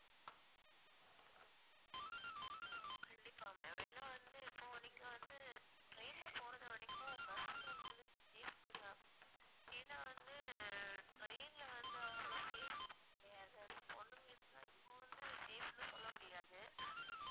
ஆஹ் கண்டிப்பா ma'am ஏன்னா வந்து இப்போ நீங்க வந்து train ல போறது வரைக்கும் bus உங்களுக்கு தான் ஏன்னா வந்து train ல வந்து அவ்வளோ safety கிடையாது அதும் பொண்ணுங்களுக்கு நான் இப்ப வந்து safe ன்னு சொல்ல முடியாது